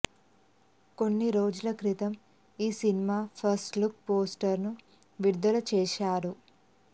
కొద్ది రోజుల క్రితం ఈ సినిమా ఫస్ట్లుక్ పోస్టర్నూ విడుదల చేశారు